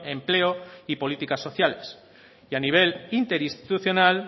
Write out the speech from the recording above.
empleo y políticas sociales y a nivel interinstitucional